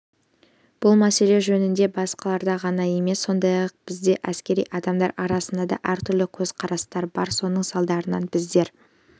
бұл мәселе жөнінде басқаларда ғана емес сондай-ақ бізде әскери адамдар арасында да әртүрлі көзқарастар бар соның салдарынан біздер